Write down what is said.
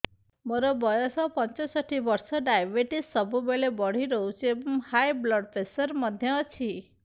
ମୋର ବୟସ ପଞ୍ଚଷଠି ବର୍ଷ ଡାଏବେଟିସ ସବୁବେଳେ ବଢି ରହୁଛି ଏବଂ ହାଇ ବ୍ଲଡ଼ ପ୍ରେସର ମଧ୍ୟ ଅଛି